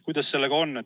Kuidas sellega on?